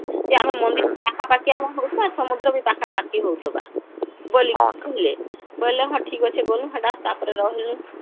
ସେ ଆମର ମନ୍ଦିର ପାଖା ପାଖି ହଉଥିବା, ସମୁଦ୍ର ବି ପାଖା ପାଖି ହଉଥିବା ବୋଲି କହିଲେ ବୋଇଲେ ହଁ ଠିକ ଅଛି ହେଟା ଗ୍ନୁ ତାପରେ ରହିନୁ